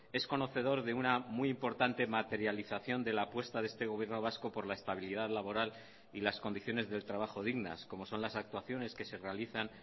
es conocedor de una muy importante materialización de la apuesta de este gobierno vasco por la estabilidad laboral y las condiciones del trabajo dignas como son las actuaciones que se realizan